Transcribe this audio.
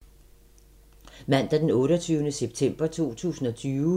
Mandag d. 28. september 2020